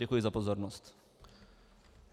Děkuji za pozornost.